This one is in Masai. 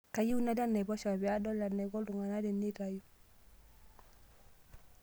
Kayieu nalo enaiposha pee adol enaiko iltunganak teneitayu.